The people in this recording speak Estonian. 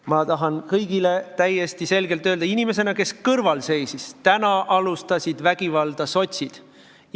Ma tahan kõigile täiesti selgelt öelda, inimesena, kes kõrval seisis: täna alustasid vägivalda sotsid.